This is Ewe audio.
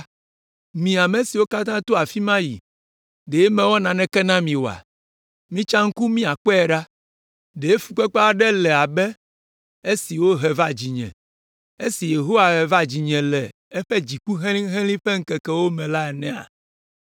“Mi ame siwo katã to afi ma yi, ɖe mewɔ naneke na mi oa? Mitsa ŋku miakpɔe ɖa! Ɖe fukpekpe aɖe le abe esi wohe va dzinye, esi Yehowa he va dzinye le eƒe dziku helĩhelĩ ƒe ŋkekewo me la enea?